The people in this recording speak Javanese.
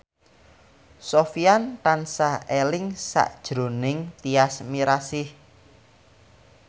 Sofyan tansah eling sakjroning Tyas Mirasih